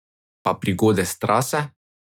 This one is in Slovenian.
Pa prigode s trase?